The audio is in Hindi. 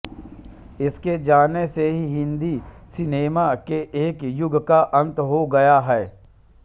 उनके जाने से हिंदी सिनेमा के एक युग का अंत हो गया है